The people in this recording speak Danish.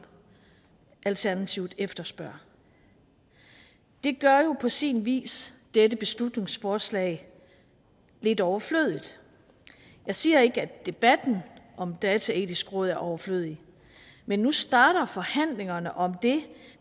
alternativet efterspørger det gør jo på sin vis dette beslutningsforslag lidt overflødigt jeg siger ikke at debatten om et dataetisk råd er overflødig men nu starter forhandlingerne om det